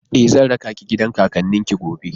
E, zan raka ki gidan kakannin ki gobe.